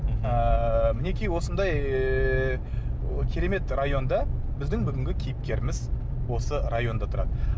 ыыы мінекей осындай ыыы керемет районда біздің бүгінгі кейіпкеріміз осы районда тұрады